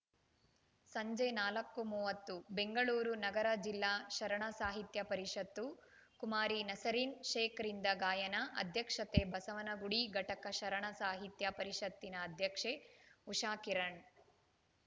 ಸಂಜೆ ನಾಲ್ಕು ಮೂವತ್ತು ಬೆಂಗಳೂರು ನಗರ ಜಿಲ್ಲಾ ಶರಣ ಸಾಹಿತ್ಯ ಪರಿಷತ್ತು ಕುಮಾರಿ ನಸರೀನ್‌ ಶೇಖ್‌ರಿಂದ ಗಾಯನ ಅಧ್ಯಕ್ಷತೆ ಬಸವನಗುಡಿ ಘಟಕ ಶರಣ ಸಾಹಿತ್ಯ ಪರಿಷತ್ತಿನ ಅಧ್ಯಕ್ಷ ಉಷಾಕಿರಣ್‌